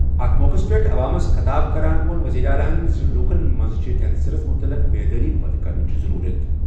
اَتھ موقعَس پٮ۪ٹھ عوامَس خطاب کران ووٚن وزیر اعلیٰ زِ لوٗکَن منٛز چھِ کینسرَس مُتعلِق بیدٲری پٲدٕ کرنٕچ ضروٗرت۔